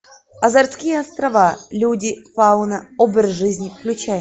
азорские острова люди фауна образ жизни включай